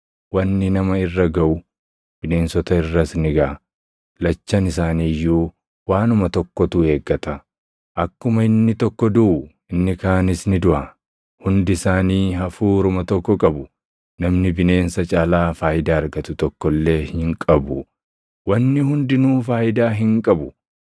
Wanni nama irra gaʼu, bineensota irras ni gaʼa; lachan isaanii iyyuu waanuma tokkotu eeggata; akkuma inni tokko duʼu, inni kaanis ni duʼa. Hundi isaanii hafuuruma tokko qabu; namni bineensa caalaa faayidaa argatu tokko illee hin qabu. Wanni hundinuu faayidaa hin qabu.